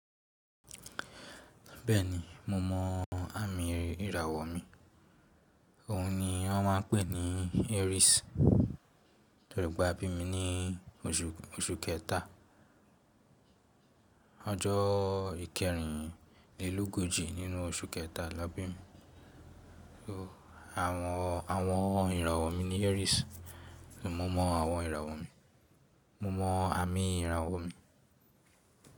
Bẹ́ẹ̀ni mo mọ àmì ìràwọ̀ mi, òun ni wọ́n ma ń pè ní Aries. Torí pe a bí mi ní oṣù kẹta. Ọjọ́ ikẹrin lélógójì nínú oṣù kẹta là bí mi. So àwọn ìràwọ̀ mi ni Aries. Mo mọ àwọn ìràwọ̀ mi. Mo mọ àmì ìràwọ̀ mi.